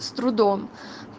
с трудом